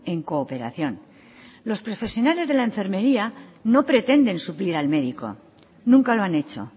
en cooperación los profesionales de la enfermería no pretenden suplir al médico nunca lo han hecho